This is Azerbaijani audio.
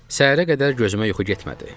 Səhərə qədər gözümə yuxu getmədi.